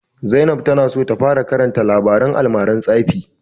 Zainab ta na so ta fara karanta labaren almaran tsafi